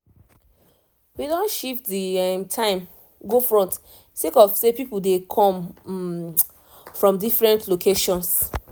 we don shift the um time go front sake of say people dey come um from different locations